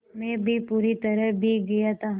मैं भी पूरी तरह भीग गया था